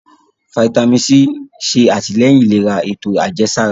Fítámìnì C ṣe àtìlẹ́yìn ìlera ètò àjẹsára.